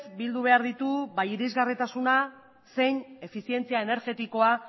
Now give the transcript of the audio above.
bildu behar ditu ba irisgarritasuna zein efizientzia energetikoa